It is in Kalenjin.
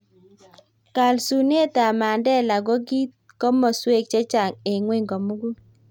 kalsunetab Mandela ko kiit komoswek chechang eng ng'weny komukul